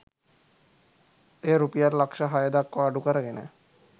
එය රුපියල් ලක්‍ෂ හය දක්‌වා අඩු කරගෙන